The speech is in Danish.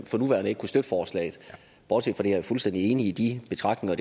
for nuværende ikke kunne støtte forslaget bortset fra det er jeg fuldstændig enig i de betragtninger